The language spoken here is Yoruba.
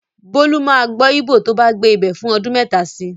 Bólú máa gbọ́ Íbò tó bá gbé ibẹ̀ fún ọdun mẹ́ta si.